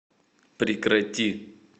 прекрати